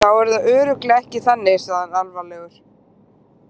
Þá er það örugglega ekki þannig, sagði hann alvarlegur.